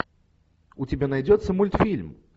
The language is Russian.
у тебя найдется мультфильм